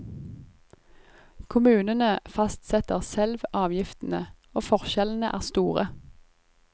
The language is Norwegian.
Kommunene fastsetter selv avgiftene, og forskjellene er store.